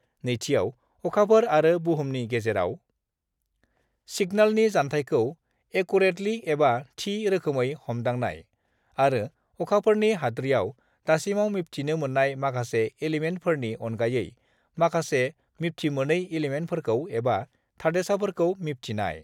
नैथिआव अखाफोर आरो बुहुमनि गेजेराव सिगनेलनि जान्थायखौ एकुरेटलि एबा थि रोखोमै हमदांनाय आरो अखाफोरनि हाद्रियाव दासिमाव मिबथिनो मोन्नाय माखासे इलिमेन्टफोरनि अनगायै माखासे मिबथिमोनै इलिमेन्टफोरखौ एबा थादेरसाफोरखौ मिबथिनाय।